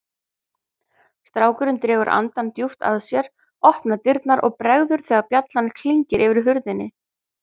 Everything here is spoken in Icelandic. Strákurinn dregur andann djúpt að sér, opnar dyrnar og bregður þegar bjallan klingir yfir hurðinni.